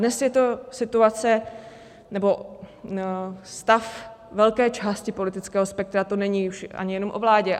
Dnes je to situace nebo stav velké části politického spektra, to není už ani jenom o vládě.